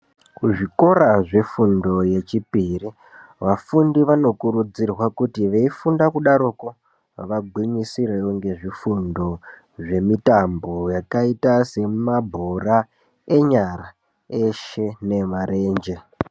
Kuzvikora zvefundo yechipiri ,vafundi vanokurudzirwa kuti, veifunda kudaroko, vagwinyisirewo ngezvifundo zvemitambo, yakaita semabhora enyara, eshe neemarenje.